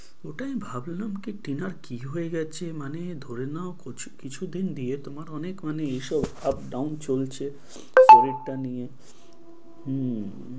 ওটাই ভাবলাম কি টিনার কি হয়ে গেছে? মানে ধরে নাও কিছুদিন দিয়ে তোমার অনেক মানে এসব up down চলছে শরীরটা নিয়ে। হম